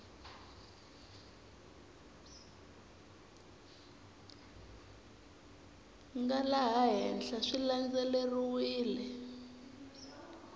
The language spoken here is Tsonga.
nga laha henhla swi landzeleriwile